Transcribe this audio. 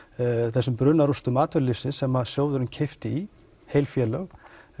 þessum brunarústum atvinnulífsins sem sjóðurinn keypti í heil félög